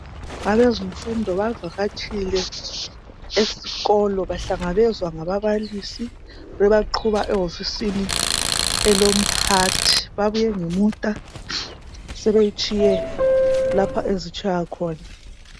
Abezemfundo bavakatshike esikolo bahlangabezwa ngababalisi bebaqhuba ewofisini elomphathi. Babuye ngemota sebeyitshiye lpho ezitshiywa khona.